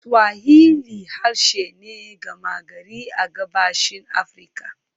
Swahili harshe ne gama gari a Gabashin Afirka.